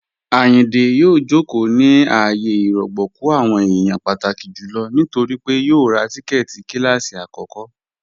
Ayíndé yòò jókò ní ààyè ìrọ̀gbọ̀kú àwọn èèyàn pàtàkí jùlọ nítorí pé yòò rá tíkẹ́ẹ̀tì kílásí akọ̀kọ